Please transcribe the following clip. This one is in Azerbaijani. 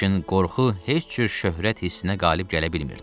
Lakin qorxu heç cür şöhrət hissinə qalib gələ bilmirdi.